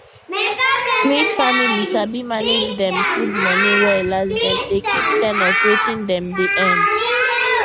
smith family sabi manage dem food money well as dem dey keep ten of wetin dem dey earn